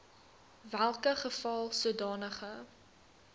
welke geval sodanige